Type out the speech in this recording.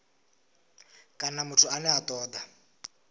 kana muthu ane a toda